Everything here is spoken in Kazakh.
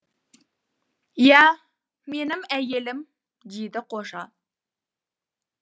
иә менің әйелім дейді қожа